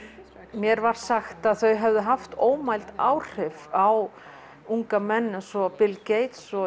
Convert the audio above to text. mér var sagt að þau hefðu haft ómæld áhrif á unga menn eins og Bill Gates og